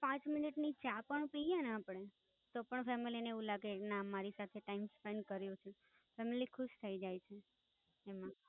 પાંચ મિનિટ ની ચા પણ પિયએ ને આપણે, તો પણ Family ને એવું કાગે કે ના મારી સાથે team spent કરીયો છે. Family ખુશ થઇ જાય છે.